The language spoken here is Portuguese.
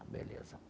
Beleza.